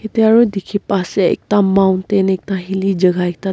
yete aro dikhi pa asey ekta mountain ekta hilly jaga ekta deh.